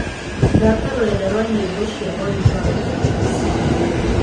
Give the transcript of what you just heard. thaaka rũrenda rwa nyĩmbo cia oliver mtukudzi